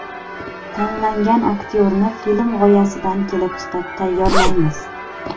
Tanlangan aktyorni film g‘oyasidan kelib chiqib tayyorlaymiz.